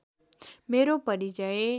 मेरो परिचय